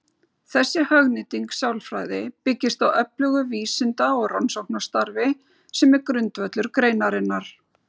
Þessi hagnýting sálfræði byggist á öflugu vísinda- og rannsóknarstarfi sem er grundvöllur greinarinnar.